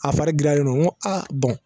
A fari giriyalen don n ko aa